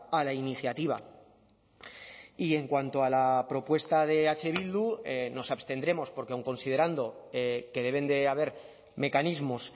a la iniciativa y en cuanto a la propuesta de eh bildu nos abstendremos porque aun considerando que deben de haber mecanismos